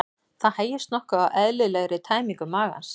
Það hægist nokkuð á eðlilegri tæmingu magans.